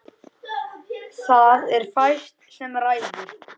Það er fæst sem ræður.